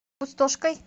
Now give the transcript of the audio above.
пустошкой